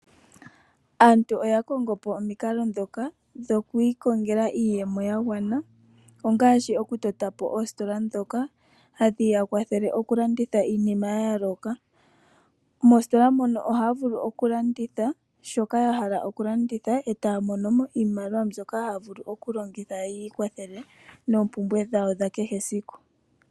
Aantu oya kongo po omikalo ndhoka dhoku ikongela iiyemo ya gwana, ngaashi okutota po oositola ndhoka hadhi ya kwathele okulanditha iinima ya yooloka. Moositola moka ohaya vulu okulanditha shoka ya hala okulanditha, etaya mono iimaliwa mbyoka haya vulu okulongitha yi ikwathele noompumbwe dhawo dha kehe esiku.